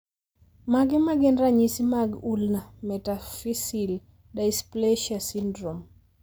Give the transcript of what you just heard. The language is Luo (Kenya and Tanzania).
Mage magin ranyisi mag Ulna metaphyseal dysplasia syndrome?